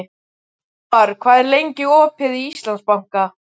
Hervar, hvað er lengi opið í Íslandsbanka?